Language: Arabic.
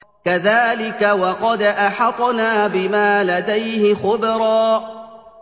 كَذَٰلِكَ وَقَدْ أَحَطْنَا بِمَا لَدَيْهِ خُبْرًا